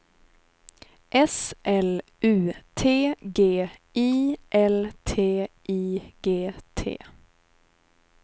S L U T G I L T I G T